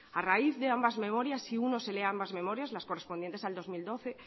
a raíz de ambas memorias si uno se lee ambas memorias las correspondientes al dos mil doce